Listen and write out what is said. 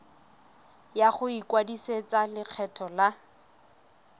ya go ikwadisetsa lekgetho la